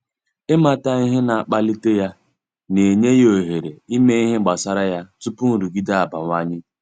Ịmata ihe na-akpalite ya, na-enye ya ohere ime ihe gbasara ya tupu nrụgide abawanye.